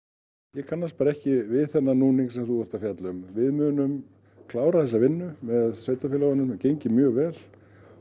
ég kannast ekki við þennan núning sem þú ert að fjalla um við munum klára þessa vinnu með sveitarfélögunum gengið mjög vel